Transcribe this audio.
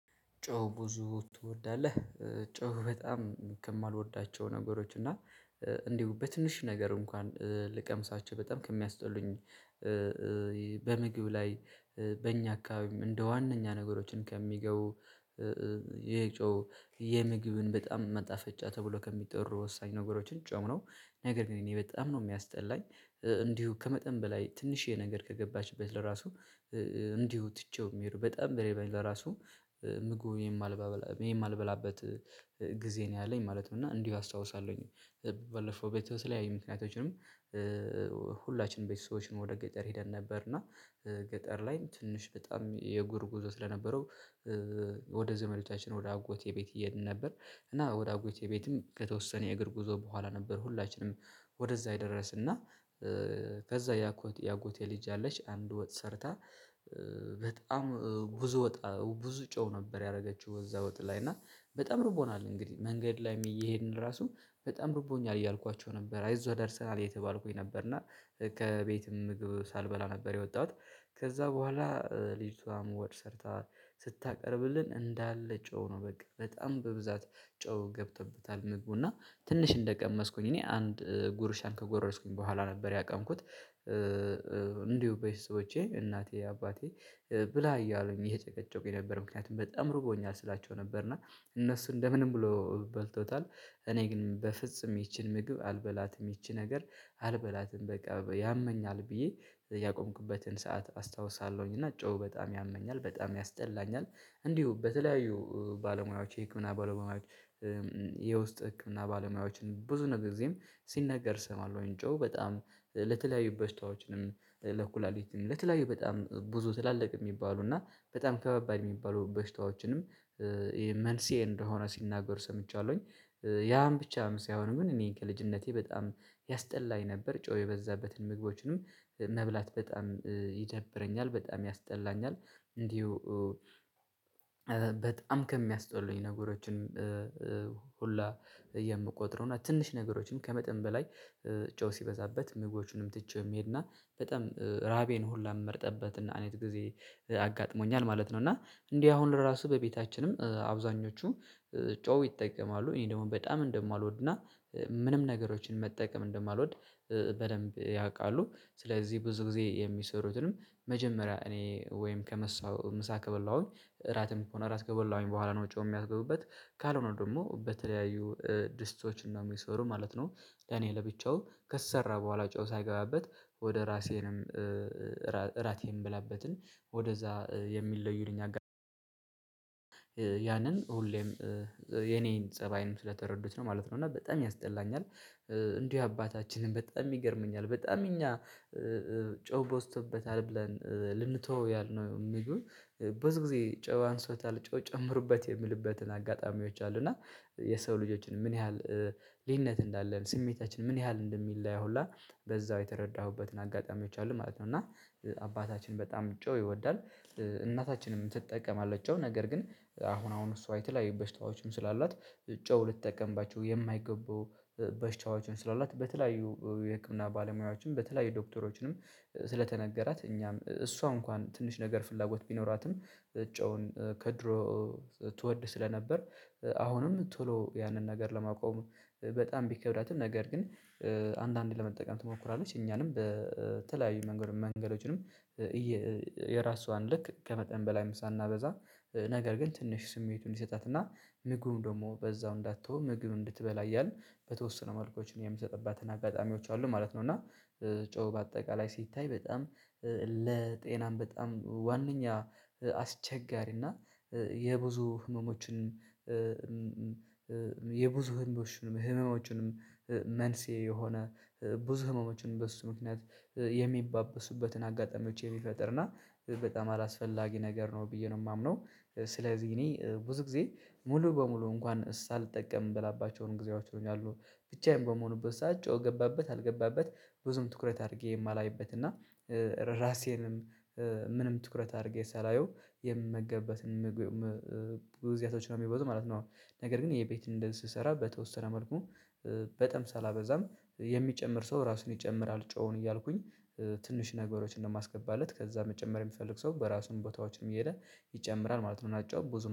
ጨው ብዙ ትወዳለህ? ጨው በጣም ከማልወዳቸው ነገሮች እና እንዲሁ በትንሽ ነገር እንኳን ልቀምሳቸው በጣም ከሚያስጠሉኝ በምግብ ላይ በእኛ አካባቢ እንደ ዋነኛ ነገሮችን ከሚገቡ የጨው የምግብን በጣም መጣፈጫ ተብሎ ከሚጠሩ ወሳኝ ነገሮችን ጨውነው ነገር ግን እኔ በጣም ነው የሚያስጠላኝ እንዲሁ ከመጠን በላይ ትንሽዬ ነገር ከገባችበት ለራሱ እንዲሁ ትቼው የሚሄደው በጣም ቢርበኝ ለራሱ ምግቡን የማልበላበት ጊዜ ነው ያለኝ ማለት ነው። እና እንዲሁ አስታውሳለሁኝ። በለፈው ቤተሰብ ላይ ምክንያቶችንም ሁላችንም ቤት ሰዎችን ወደ ገጠር ሄደን ነበር። እና ገጠር ላይም ትንሽ በጣም የእግር ጉዞ ስለነበረው ወደ ዘመዶታችን ወደ አጎቴ ቤት እየሄድን ነበር። እና ወደ አጎቴ ቤትም ከተወሰነ የእግር ጉዞ በኋላ ነበር ሁላችንም ወደዛ የደረስን እና ከዛ ያኮት ያጎቴልጅ አለች አንድ ወጥ ሰርታ በጣም ብዙ ወጥ ብዙ ጮህ ነበር ያደረገችው እዛ ወጥ ላይ እና በጣም ርቦናል። እንግዲህ መንገድ ላይ እየሄድን ራሱ በጣም ርቦኛል እያልኳቸው ነበር አይዞህ ደርሰናል የተባልኩኝ ነበር። እና ከቤትም ምግብ ሳልበላ ነበር የወጣሁት። ከዛ በኋላ ልጅቷም ወጥ ሰርታ ስታቀርብልን እንዳለ ጨው ነው በቃ በጣም በብዛት ጨው ገብቶበታል ምግቡ እና ትንሽ እንደቀመስኩኝ እኔ አንድ ጉርሻን ከጎረስኩኝ በኋላ ነበር ያቆምኩት። እንዲሁ በቤተሰቦቼ በሰዎቼ እናቴ አባቴ ብላ እያሉኝ እየ ጨቀጨቁኝ ነበር ምክንያቱም በጣም ርቦኛል ስላቸው ነበር እና እነሱ እንደምንም ብሎ በልቶታል። እኔ ግን በፍጹም ይቺን ምግብ አልበላትም ይቺ ነገር አልበላትም በቃ ያመኛል ብዬ ያቆምኩበትን ሰዓት አስታውሳለሁኝ እና ጨው በጣም ያመኛል በጣም ያስጠላኛል እንዲሁ በተለያዩ ባለሙያዎች የህክምና ባለሙያዎች። የውስጥ ህክምና ባለሙያዎችን ብዙ ነገር ጊዜም ሲነገር እሰማለሁኝ እጨው በጣም ለተለያዩ በሽታዎችንም ለተለይ በጣም ብዙ ትላልቅ የሚባሉ እና በጣም ከባድ የሚባሉ በሽታዎችንም ይሄ እንደሆነ ሲናገር ሰምቻለሁኝ። ያም ብቻም ሳይሆን ምን እኔ ከልጅነቴ በጣም ያስጠላኝ ነበር ጨው የበዛበትን ምግቦችንም መብላት በጣም ይደብረኛል በጣም ያስጠላኛል። እንዲሁ በጣም ከሚያስጠሉኝ ነገሮችን ሁላ የምቆጥረው እና ትንሽ ነገሮችን ከመጠን በላይ ጨው ሲበዛበት ምግቦችንም ትቼውየምሄደው እና በጣም ራቤን ሁላ የምመርጠበት አይነት ጊዜ አጋጥሞኛል ማለት ነው። እና እንዲህ አሁን ራሱ በቤታችንም አብዛኞቹ ጨው ይጠቀማሉ እኔ ደግሞ በጣም እንደማልወድና ምንም ነገሮችን መጠቀም እንደማልወድ በደንብ ያውቃሉ። ስለዚህ ብዙ ጊዜ የሚሰሩትንም መጀመሪያ እኔ ወይም ከምሳው ምሳ ከበላሁኝ እራትም ከሆነ እራት ከበላሁኝ በኋላ ነው ውጪው የሚያስገቡበት ካልሆነ ደግሞ በተለያዩ ድስቶችን ነው የሚሰሩ ማለት ነው። እኔ ብቻው ከሰራ በኋላ ጨዋታ የገባበት ወደ ራሴንም እራቴን ብላበትን ወደዛ የሚለዩንኝ አጋጣሚ ያንን ሁሌም የኔን ፀባይንም ስለተረዱት ነው ማለት ነው። እና በጣም ያስጠላኛል እንዲሁ አባታችንን በጣም ይገርመኛል በጣም እኛ ጨው በዝቶበታል ብለን ልንተወው ያልነው የምግብ ጊዜ ጨው አንሶታል ጨው ጨምሩበት የሚልበትን አጋጣሚዎች አሉ። እና የሰው ልጆችን ምን ያህል ልዩነት እንዳለን ስሜታችን ምን ያህል እንደሚለያየው ሁላ በዛው የተረዳሁበትን አጋጣሚዎች አሉ ማለት ነው። እና አባታችን በጣም ጨው ይወዳል። እናታችንም ትጠቀማለች ጨውህ ነገር ግን አሁን አሁን እሷ የተለያዩ በሽታዎችም ስላላት ጨው ልትጠቀምባቸው የማይገቡ በሽታዎችን ስላላት በተለያዩ የህክምና ባለሙያዎችም በተለያዩ ዶክተሮችንም ስለተነገራት እኛም እሷ እንኳን ትንሽ ነገር ፍላጎት ቢኖራትም እጨውን ከድሮ ትወድ ስለነበር አሁንም ቶሎ ያንን ነገር ለማቆም በጣም ቢከብዳትም ነገር ግን አንዳንዴ ለመጠቀም ትሞክራለች እኛንም በተለያዩ መንገዶችንም የራሷን ልክ ከመጠን በላይም ሳናበዛ ነገር ግን ትንሽ ስሜቱን እንዲሰጣትና ምግቡን ደግሞ በዛው እንዳትተው ምግብ እንድትበላ እያልን በተወሰነ መልኮች የምትሰጥባትን አጋጣሚዎች አሉ ማለት ነው። እና ጨው በአጠቃላይ ሲታይ በጣም ለጤናም በጣም ዋናኛ አስቸጋሪና የብዙ ህመሞችን የብዙ ህንዶችንም ህመሞችንም መንስኤ የሆነ ብዙ ህመሞችንም በሱ ምክንያት የሚባበሱበትን አጋጣሚዎች የሚፈጥርና በጣም አላስፈላጊ ነገር ነው ብዬ ነው የማምነው። ስለዚህ እኔ ብዙ ጊዜ ሙሉ በሙሉ እንኳን እሳ ልጠቀም የምንበላባቸውን ጊዜያቸውን ያሉ ብቻዬን በመሆኑበት ሰዓት ጨው ገባበት አልገባበት ብዙም ትኩረት አድርጌ የማላይበት እና ራሴንም ምንም ትኩረት አድርጌ ሳላየው የምመገበትን ጉዞያቶች ነው የሚበዙ ማለት ነው። ነገር ግን ይሄ ቤት እንድንሰራ በተወሰነ መልኩ በጣም ሳላበዛም የሚጨምር ሰው ራሱን ይጨምራል ጨው እያልኩኝ ትንሽ ነገሮችን ነውየማስገባለት ከዛ መጨመር የሚፈልግ ሰው በራሱን ቦታዎችንም እየሄደ ይጨምራል ማለት ነው። እናጨው